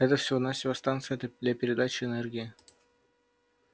это всего-навсего станция для передачи энергии